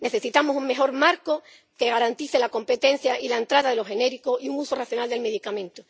Necesitamos un mejor marco que garantice la competencia y la entrada de los genéricos y un uso racional del medicamento.